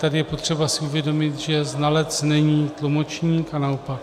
Tady je potřeba si uvědomit, že znalec není tlumočník, a naopak.